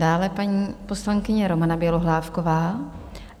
Dále paní poslankyně Romana Bělohlávková.